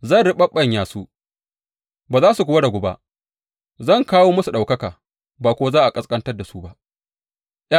Zan riɓaɓɓanya su, ba za su kuwa ragu ba; zan kawo musu ɗaukaka, ba kuwa za a ƙasƙanta su ba.